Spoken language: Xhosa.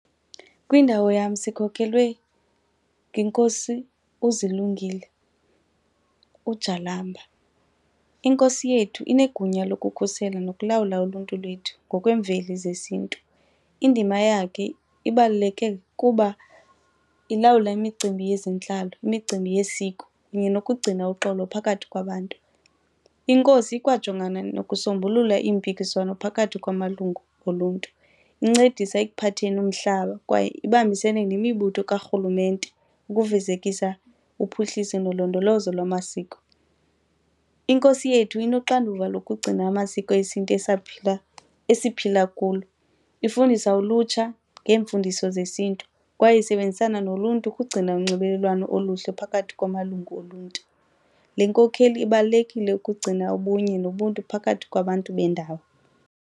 Kwindawo yam sikhokelwe yiNkosi uZilungile, uJalamba. Inkosi yethu inegunya lokukhusela nokulawula uluntu lwethu ngokwemveli zesiNtu. Indima yakhe ibaluleke ngokuba ilawula imicimbi yezentlalo, imicimbi yesiko kunye nokugcina uxolo phakathi kwabantu. Inkosi ikwajongana nokusombulula iimpikiswano phakathi kwamalungu oluntu, incedisa ekuphatheni umhlaba kwaye ibambisene nemibutho karhulumente ukufezekisa uphuhliso nolondolozo lwamasiko. Inkosi yethu inoxanduva lokugcina amasiko esiNtu esiphila esiphila kulo, ifundisa ulutsha ngeemfundiso zesiNtu kwaye isebenzisana noluntu ukugcina unxibelelwano oluhle phakathi kwamalungu oluntu. Le nkokheli ibalulekile ukugcina ubunye nobuntu phakathi kwabantu bendawo.